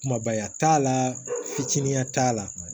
Kumabaya t'a la fitininya t'a la